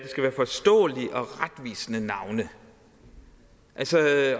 være forståelige og retvisende navne